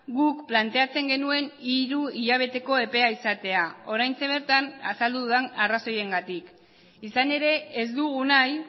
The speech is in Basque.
guk planteatzen genuen hiru hilabeteko epea izatea oraintxe bertan azaldu dudan arrazoiengatik izan ere ez dugu nahi